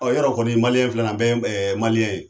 Ɔ yɔrɔ kɔni maliyɛn filɛ ni ye an bɛ yeɛ maliyɛn ye